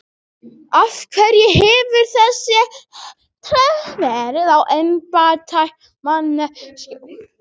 Af hverju hefur þá þessi tregða verið í embættismannakerfinu?